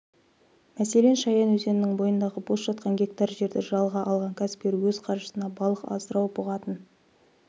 мәселен шаян өзенінің бойындағы бос жатқан гектар жерді жалға алған кәсіпкер өз қаржысына балық асырау бұғатын